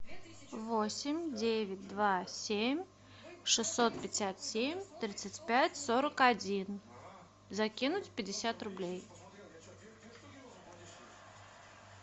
восемь девять два семь шестьсот пятьдесят семь тридцать пять сорок один закинуть пятьдесят рублей